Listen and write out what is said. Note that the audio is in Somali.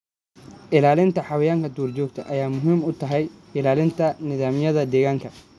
Ilaalinta xayawaanka duurjoogta ah waxay muhiim u tahay ilaalinta nidaamyada deegaanka.